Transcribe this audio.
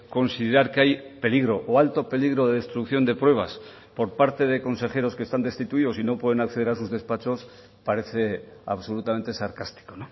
considerar que hay peligro o alto peligro de destrucción de pruebas por parte de consejeros que están destituidos y no pueden acceder a sus despachos parece absolutamente sarcástico